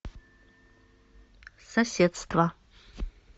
соседство